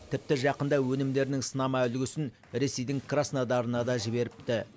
тіпті жақында өнімдерінің сынама үлгісін ресейдің краснодарына да жіберіпті